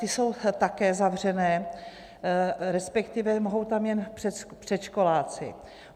Ty jsou také zavřené, respektive mohou tam jen předškoláci.